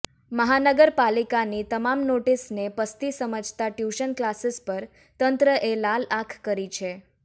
મહાનગર પાલિકાની તમામ નોટીસને પસ્તી સમજતા ટયુશન કલાસીસ પર તંત્રએ લાલ આંખ કરી છે